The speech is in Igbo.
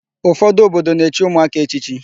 Ụfọdụ obodo na-echi ụmụaka echichi.